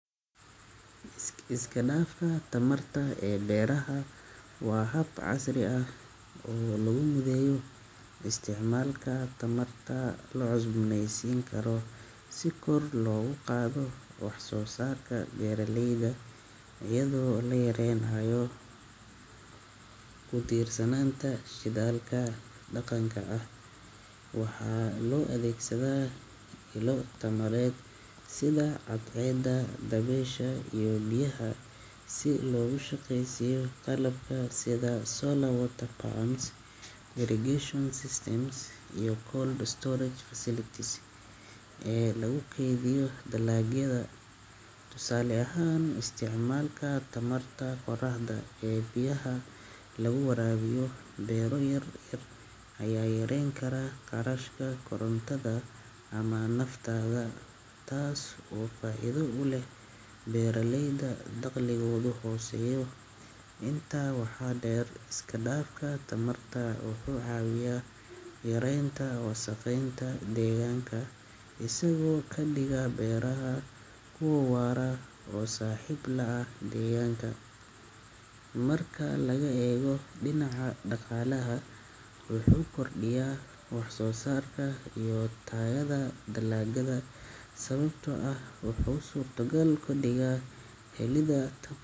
Iska dhafka tamarta ee beraha waa hab casri ah oo lagu mideeyo isticmaalka tamarta la cusboonaysiin karo si kor loogu qaado wax soo saarka beeraleyda iyadoo la yareynayo ku tiirsanaanta shidaalka dhaqanka ah. Waxaa loo adeegsadaa ilo tamareed sida cadceedda, dabaysha iyo biyaha si loogu shaqeysiiyo qalabka sida solar water pumps, irrigation systems iyo cold storage facilities ee lagu keydiyo dalagyada. Tusaale ahaan, isticmaalka tamarta qoraxda ee biyaha lagu waraabiyo beero yar yar ayaa yareyn kara kharashka korontada ama naaftada, taas oo faa’iido u leh beeraleyda dakhligoodu hooseeyo. Intaa waxaa dheer, iska dhafka tamarta wuxuu caawiyaa yareynta wasakheynta deegaanka, isagoo ka dhiga beeraha kuwo waara oo saaxiib la ah deegaanka. Marka laga eego dhinaca dhaqaalaha, wuxuu kordhiyaa wax soo saarka iyo tayada dalagga sababtoo ah wuxuu suurtogal ka dhigaa helidda.